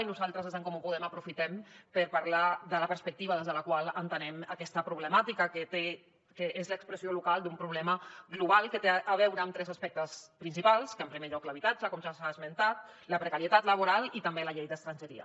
i nosaltres des d’en comú podem aprofitem per parlar de la perspectiva des de la qual entenem aquesta problemàtica que és l’expressió local d’un problema global que té a veure amb tres aspectes principals en primer lloc l’habitatge com ja s’ha esmentat la precarietat laboral i també la llei d’estrangeria